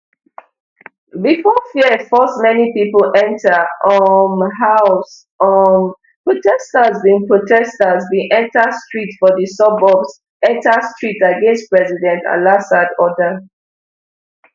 bifor fear force many pipo enta um house um protesters bin protesters bin enta street for di suburbs enta street against president alassad order